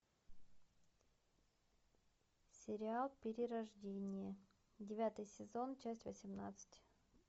сериал перерождение девятый сезон часть восемнадцать